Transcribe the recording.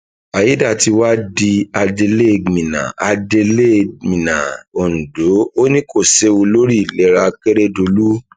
àyédátiwa di adelégmina adelégmina ondo ò ní kó séwu lórí ìlera akérèdọlù